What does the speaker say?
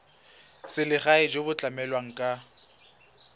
selegae jo bo tlamelang ka